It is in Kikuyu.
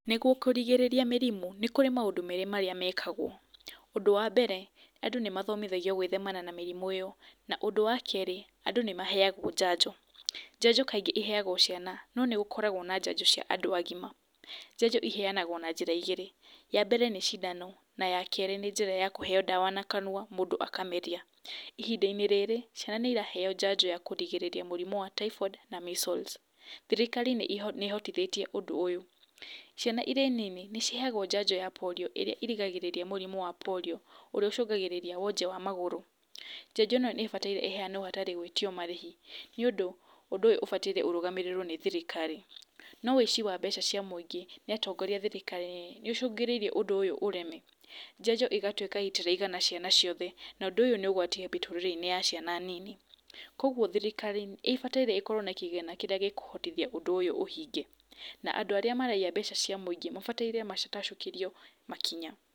Nĩguo kũrigĩrĩria mĩrimũ nĩ kũrĩ maũndũ merĩ marĩa mekagwo, ũndũ wa mbere andũ nĩ mathomithagio gwĩthema na mĩrimũ ĩyo na ũndũ wa kerĩ andũ nĩ maheagwo njanjo. Njanjo kaingĩ iheagwo ciana no nĩ gũkoragwo na njanjo cia andũ agima. Njanjo iheanagwo na njĩra igĩrĩ, ya mbere nĩ cindano na ya kerĩ nĩ njĩra ya kũheo ndawa na kanua mũndũ akameria, ihinda-inĩ rĩrĩ ciana nĩ iraheo njanjo ya kũrigĩrĩria mũrimũ ya typhoid na measles. Thirikari nĩ ĩhotithĩtie ũndũ ũyũ. Ciana irĩ nini nĩ ciheagwo njanjo ya Polio ĩrĩa ĩrigagĩrĩria mũrimũ wa Polio ũrĩa ũcũngagĩrĩria wonje wa magũrũ, njanjo ĩno nĩ ĩbataire ĩhenawo hatarĩ gwĩtio marĩhi nĩ ũndũ ũndũ ũyũ ũbataire ũrũgamĩrĩrwo nĩ thirikari, no ũici wa mbeca cia mũingĩ nĩ atongoria thirikari-inĩ, nĩ ũcũngĩrĩirie ũndũ ũyũ ũreme, njanjo igatuĩka itiraigana ciana ciothe, na ũndũ ũyũ nĩ ũgwati mĩtũrĩreinĩ ya ciana nini, koguo thirikari nĩ ĩbataire ĩkorwo na kĩgĩna kĩrĩa gĩkũhotithia ũndũ ũyũ ũhinge, na andũ arĩa maraiya mbeca cia mũingĩ mabataire matacũkĩrio makinya.